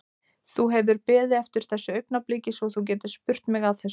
Þú hefur beðið eftir þessu augnabliki svo þú getir spurt mig að þessu?